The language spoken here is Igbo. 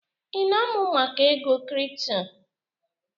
Ị na-amụ maka ego kripto?